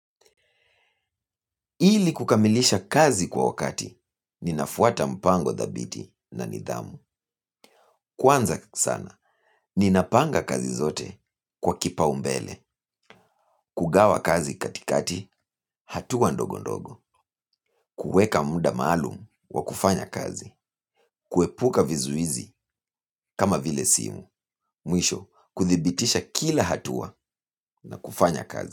Ili kukamilisha kazi kwa wakati, ninafuata mpango dhabiti na nidhamu. Kwanza sana, ninapanga kazi zote kwa kipaumbele. Kugawa kazi katikati, hatua ndogo ndogo. Kuweka muda maalum wa kufanya kazi. Kuepuka vizuizi kama vile simu. Mwisho, kuthibitisha kila hatua na kufanya kazi.